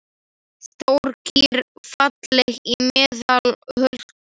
Stór kýr, falleg í meðal holdum.